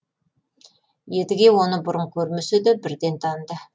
едіге оны бұрын көрмесе де бірден таныды